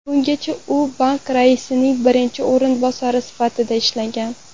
Bungacha u bank raisining birinchi o‘rinbosari sifatida ishlagan.